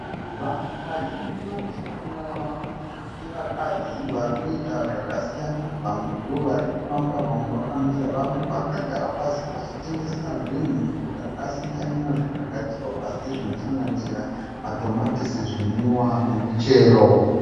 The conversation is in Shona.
Vanhu vazhinji vanosanganisira varume nevakadzi varikuita zvakasiyana. Vamwe ndovarikufamba vamwe vakamira vamwe vakagara pasi vachitengesa zvinhu zvakasiyana zvakagadzikwa pasi zvinosanganisira matomatisi, zvinwiwa nemichero.